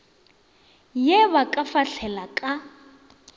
ye ba ka fahlela ka